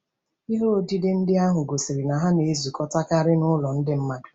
Ihe odide ndị ahụ gosiri na ha na-ezukọtakarị n’ụlọ ndị mmadụ.